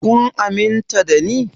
Kun aminta da ni?